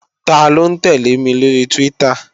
Taló ń tẹ́lẹ̀ mi lóri Twitter?